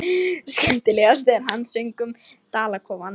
Skemmtilegast þegar hann söng um dalakofann.